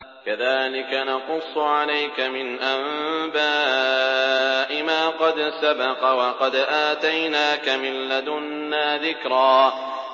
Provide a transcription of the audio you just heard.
كَذَٰلِكَ نَقُصُّ عَلَيْكَ مِنْ أَنبَاءِ مَا قَدْ سَبَقَ ۚ وَقَدْ آتَيْنَاكَ مِن لَّدُنَّا ذِكْرًا